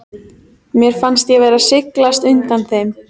Mér fannst ég vera að sligast undan þeim.